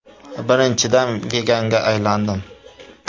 Birinchidan, veganga aylandim.